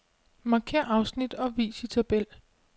Markér afsnit og vis i tabel.